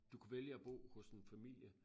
Du kunne vælge at bo hos en familie